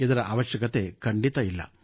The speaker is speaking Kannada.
ಇದರ ಅವಶ್ಯಕತೆಯಿಲ್ಲ